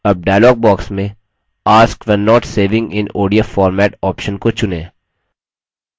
अब dialog box में ask when not saving in odf format option को चुनें